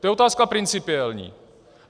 To je otázka principiální.